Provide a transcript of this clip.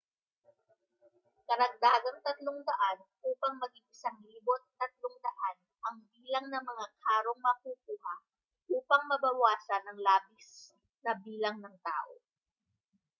karagdagang 300 upang maging 1,300 ang bilang ng mga karong makukuha upang mabawasan ang labis na bilang ng tao